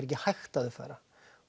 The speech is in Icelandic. ekki hægt að uppfæra